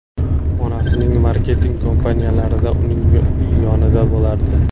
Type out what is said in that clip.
Onasining marketing kampaniyalarida uning yonida bo‘lardi.